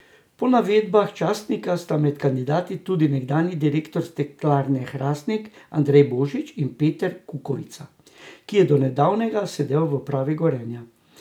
Po navedbah časnika sta med kandidati tudi nekdanji direktor Steklarne Hrastnik Andrej Božič in Peter Kukovica, ki je donedavnega sedel v upravi Gorenja.